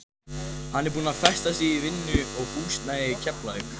Hann er búinn að festa sig í vinnu og húsnæði í Keflavík.